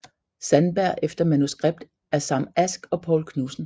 Sandberg efter manuskript af Sam Ask og Poul Knudsen